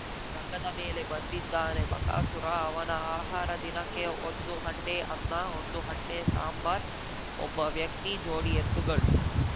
ರಂಗದ ಮೇಲೆ ಬಂದಿದ್ದಾನೆ ಬಕಾಸುರ ಅವನ ಆಹಾರ ದಿನಕ್ಕೆ ಒಂದು ಹಂಡೆ ಅನ್ನ ಒಂದು ಹಂಡೆ ಸಾಂಬರ್‌ ಒಬ್ಬ ವ್ಯಕ್ತಿ ಜೋಡಿ ಎತ್ತುಗಳು